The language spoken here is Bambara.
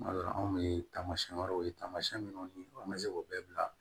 Tuma dɔ la anw bɛ taamasiyɛn wɛrɛw ye tamasiyɛn minnu ni an bɛ se k'o bɛɛ bila